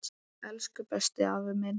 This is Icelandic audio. Elsku besti, afi minn.